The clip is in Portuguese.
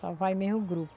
Só vai mesmo o grupo.